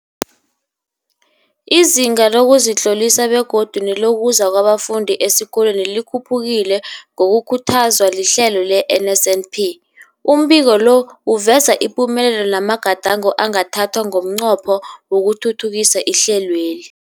Izinga lokuzitlolisa begodu nelokuza kwabafundi esikolweni likhuphukile ngokukhuthazwa lihlelo le-NSNP. Umbiko lo uveza ipumelelo namagadango angathathwa ngomnqopho wokuthuthukisa ihlelweli.